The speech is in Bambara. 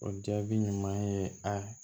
O jaabi ɲuman ye a